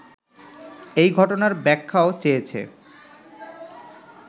এই ঘটনার ব্যাখ্যাও চেয়েছে